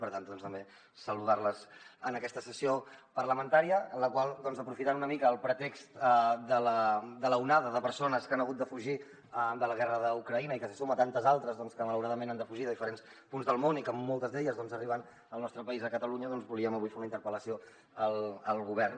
per tant també saludar les en aquesta sessió parlamentària en la qual doncs aprofitant una mica el pretext de l’onada de persones que han hagut de fugir de la guerra d’ucraïna i que se suma a tantes altres que malauradament han de fugir de diferents punts del món i que moltes d’elles arriben al nostre país a catalunya volíem avui fer una interpel·lació al govern